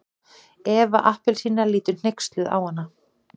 Eva appelsína lítur hneyksluð á hana.